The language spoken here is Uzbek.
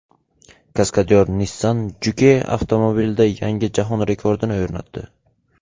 Kaskadyor Nissan Juke avtomobilida yangi jahon rekordini o‘rnatdi.